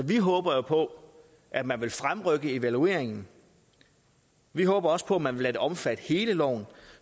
vi håber på at man vil fremrykke evalueringen vi håber også på at man vil lade det omfatte hele loven